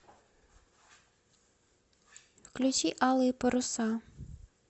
включи алые паруса